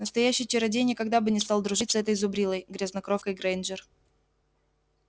настоящий чародей никогда бы не стал дружить с этой зубрилой грязнокровкой грэйнджер